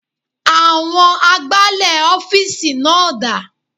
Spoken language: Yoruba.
Àwọn agbálẹ̀ ọ́fíìsì náà dà?